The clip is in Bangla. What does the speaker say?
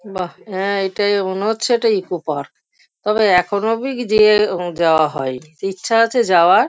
বাহ্ হ্যাঁ এটাই মনে হচ্ছে এটা ইকো পার্ক । তবে এখনো অবধি যেয়ে যাওয়া হয় নি। তো ইচ্ছা আছে যাওয়ার।